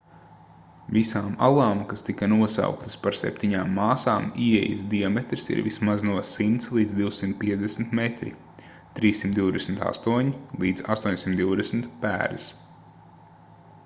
visām alām kas tika nosauktas par septiņām māsām ieejas diametrs ir vismaz no 100 līdz 250 metri 328 līdz 820 pēdas